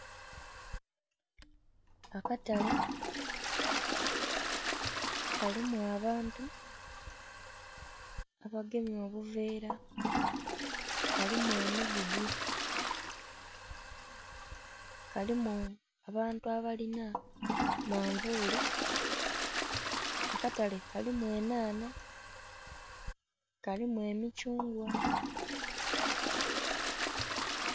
Akatale kalimu abantu abagemye obuveera kalimu emigugu, kalimu abantu aba linha manvuli, akatale kalimu enhanha, kalimu emicungwa.